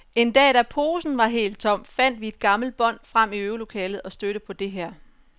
En dag, da posen var helt tom, fandt vi et gammelt bånd frem i øvelokalet og stødte på det her.